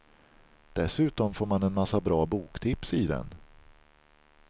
Dessutom får man en massa bra boktips i den.